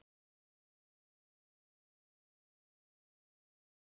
Lena heil.